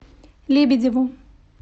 лебедеву